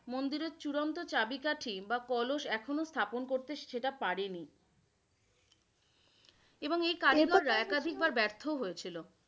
মন্দিরের চূড়ান্ত চাবিকাঠি বা কলস এখনো স্থাপন করতে সেটা পারেনি । এবং এর কারিগররা একাধিক বার ব্যর্থ হয়েছিলো।